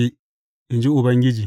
in ji Ubangiji.